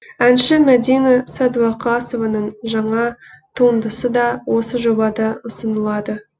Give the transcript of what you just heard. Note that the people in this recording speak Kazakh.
әнші мәдина сәдуақасованың жаңа туындысы да осы жобада ұсынылады